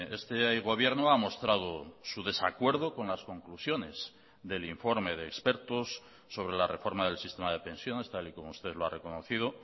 este gobierno ha mostrado su desacuerdo con las conclusiones del informe de expertos sobre la reforma del sistema de pensiones tal y como usted lo ha reconocido